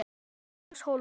Elías Hólm.